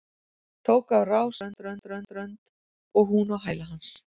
Tók á rás niður á strönd og hún á hæla hans.